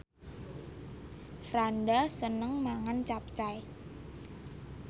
Franda seneng mangan capcay